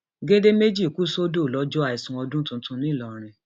gèdè méjì kù sódò lọjọ àìsùn ọdún tuntun ńlọrọrin